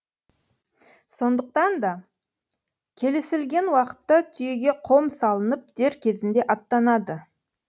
сондықтан да келісілген уақытта түйеге қом салынып дер кезінде аттанады